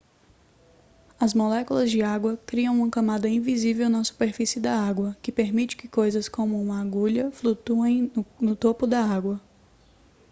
as moléculas de água criam uma camada invisível na superfície da água que permite que coisas como uma agulha flutuem no topo da água